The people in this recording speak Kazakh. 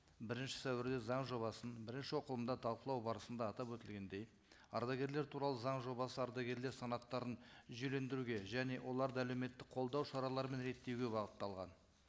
бірінші сәуірде заң жобасын бірінші оқылымда талқылау барысында атап өтілгендей ардагерлер туралы заң жобасы ардагерлер санаттарын жүйелендіруге және оларды әлеуметтік қолдау шараларын реттеуге бағытталған